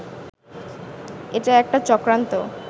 এটা একটা চক্রান্ত